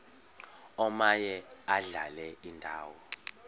omaye adlale indawo